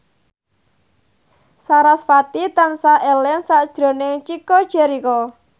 sarasvati tansah eling sakjroning Chico Jericho